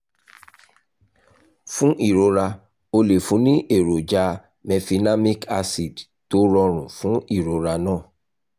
fún ìrora o lè fún un ní èròjà mefenamic acid tó rọrùn fún ìrora náà